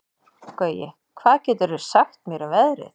Gaui, hvað geturðu sagt mér um veðrið?